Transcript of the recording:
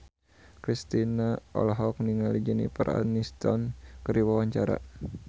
Kristina olohok ningali Jennifer Aniston keur diwawancara